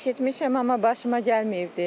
Eşitmişəm, amma başıma gəlməyibdi.